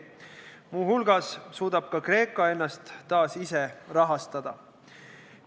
Muuhulgas suudab ka Kreeka ennast taas ise rahastada.